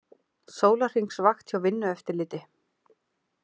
Sólarhringsvakt hjá Vinnueftirliti